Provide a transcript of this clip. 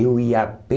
Eu ia a pé...